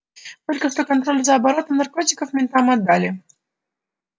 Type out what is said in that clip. только что контроль за оборотом наркотиков ментам отдали